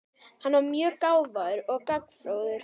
Hann er mjög gáfaður og gagnfróður.